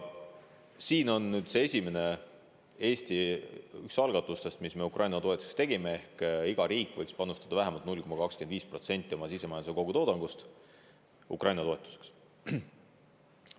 Eesti üks esimestest algatustest, mis me Ukraina toetuseks tegime, on selline: iga riik võiks panustada vähemalt 0,25% oma sisemajanduse kogutoodangust Ukraina toetuseks.